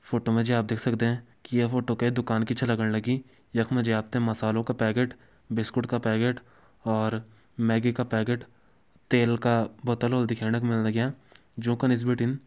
फोटो मा जी आप देख सकदें की ये फोटो कै दुकान की छ लगण लगीं यख मा जी आप त मसलों का पैकेट बिस्कुट का पैकेट और मैगी का पैकेट तेल का बोतल होली दिखेण का मिलण लग्यां जोकां निस बिटिन --